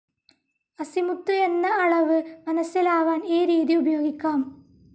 Azimuth എന്ന അളവ് മനസ്സിലാവാൻ ഈ രീതി ഉപയോഗിക്കാം.